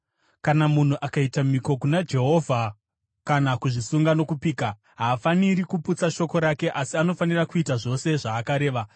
Kana munhu akaita mhiko kuna Jehovha kana kuzvisunga nokupika, haafaniri kuputsa shoko rake asi anofanira kuita zvose zvaakareva.